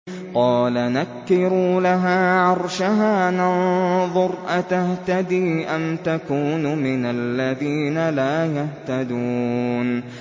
قَالَ نَكِّرُوا لَهَا عَرْشَهَا نَنظُرْ أَتَهْتَدِي أَمْ تَكُونُ مِنَ الَّذِينَ لَا يَهْتَدُونَ